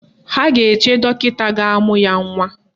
Ha ga-eche dọkịta ga-amụ ya nwa